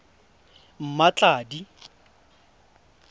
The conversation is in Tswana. mmatladi